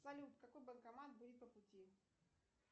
салют какой банкомат будет по пути